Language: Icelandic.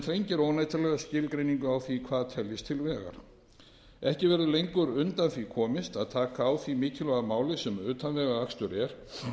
þrengir óneitanlega skilgreiningu á því hvað teljist til vegar ekki verður lengur undan því komist að taka á því mikilvæga máli sem utanvegaakstur er